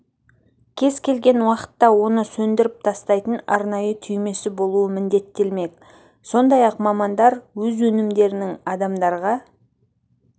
кез келген уақытта оны сөндіріп тастайтын арнайы түймесі болуы міндеттелмек сондай-ақ мамандар өз өнімдерінің адамдарға